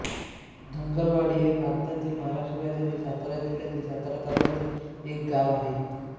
धनगरवाडी हे भारतातील महाराष्ट्र राज्यातील सातारा जिल्ह्यातील सातारा तालुक्यातील एक गाव आहे